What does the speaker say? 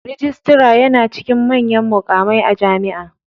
Rijistara yana cikin manyan muƙamai a Jami'a.